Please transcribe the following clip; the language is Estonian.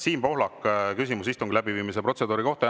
Siim Pohlak, küsimus istungi läbiviimise protseduuri kohta.